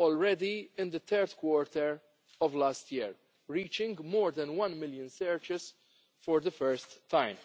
in the third quarter of last year, reaching more than one million searches for the first time.